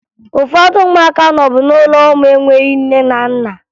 Ụfọdụ ụmụaka nọbu n'ụlọ ụmụ enweghi nne na nna